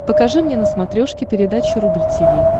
покажи мне на смотрешке передачу рубль ти ви